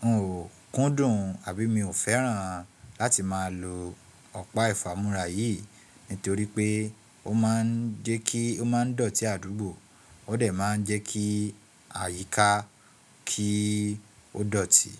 wọn ò kúndùn àbí mi ò fẹ́ràn láti máa lo ọ̀pá ìfámúrá yìí nítorí pé ó máa ń dọ̀tí àdúgbò, ó dẹ̀ máa ń jẹ́ kí àyíká kí ó dọ̀tí.